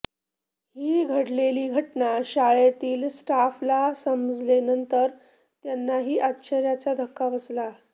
ही घडलेली घटना शाळेतील स्टाफ ला संमजलेनंतर त्यांनाही आचर्याचा धक्का बसला